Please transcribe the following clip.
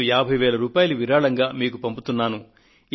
నేను 50000 రూపాయలు విరాళంగా మీకు పంపుతున్నాను